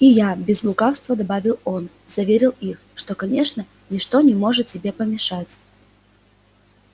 и я без лукавства добавил он заверил их что конечно ничто не может тебе помешать